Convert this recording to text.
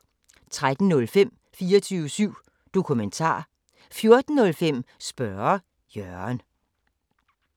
13:05: 24syv Dokumentar 14:05: Spørge Jørgen